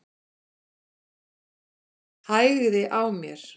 Hægði á mér.